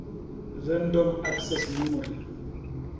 random access memory